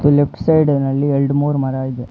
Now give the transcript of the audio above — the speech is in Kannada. ಮತ್ತು ಲೆಫ್ಟ್ ಸೈಡಿನಲ್ಲಿ ಎರಡ್ ಮೂರು ಮರ ಇದೆ.